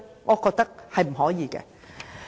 我覺得不可以。